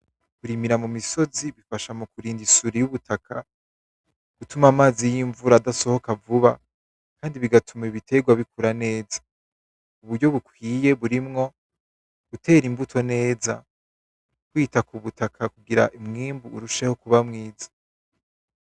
Kurimira mu misozi bifasha mu kurinda isuri y’ubutaka, bituma amazi y’invura adasohoka vuba kandi bigatuma ibiterwa bikura neza. Uburyo bukwiye burimwo gutera imbuto neza, kwita k’ubutaka kugira umwimbu urusheho kuba mwiza.